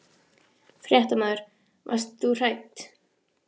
Fréttamaður: Varst þú hrædd?